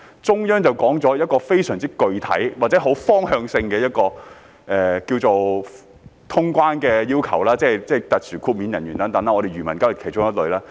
中央已提出一個非常具體或很方向性的通關要求，關乎特殊豁免人員等，而漁民當然是其中一類。